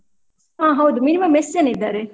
ಹ ಹೌದು minimum ಎಷ್ಟ್ ಜನ ಇದ್ದಾರೆ?